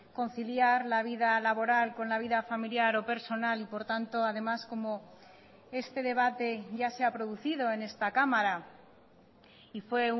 conciliar la vida laboral con la vida familiar o personal y por tanto además como este debate ya sea producido en esta cámara y fue